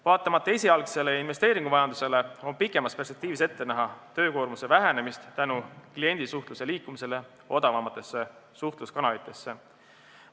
Vaatamata esialgsele investeeringuvajadusele, on pikemas perspektiivis ette näha töökoormuse vähenemist tänu kliendisuhtluse liikumisele odavamatesse suhtluskanalitesse.